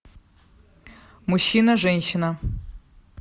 мужчина женщина